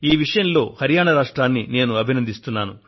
ఈ విషయంలో హరియాణా రాష్ట్రాన్ని నేను అభినందిస్తున్నా